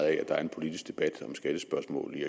at der er en politisk debat om skattespørgsmålet i